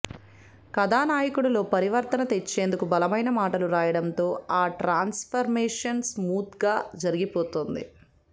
కథానాయకుడిలో పరివర్తన తెచ్చేందుకు బలమైన మాటలు రాయడంతో ఆ ట్రాన్స్ఫర్మేషన్ స్మూత్గా జరిగిపోతుంది